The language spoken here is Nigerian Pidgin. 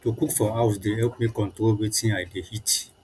to cook for house dey help me control wetin i dey eat